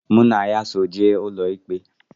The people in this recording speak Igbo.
Mụ na ya so jee ụlọikpe